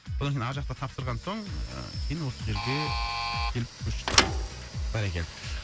ар жақты тапсырған соң ыыы кейін осы жерге келіп көштік бәрекелді